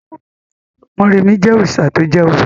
Mọ́remí jẹ́ òrìṣà to jẹ́ obìnrin